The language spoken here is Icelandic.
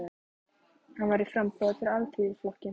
Hann var í framboði fyrir Alþýðuflokkinn.